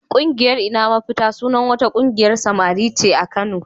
Ƙungiyar "Ina Mafita" sunan wata ƙungiyar samari ce a Kano.